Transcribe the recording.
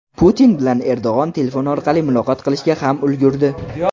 Putin bilan Erdo‘g‘on telefon orqali muloqot qilishga ham ulgurdi .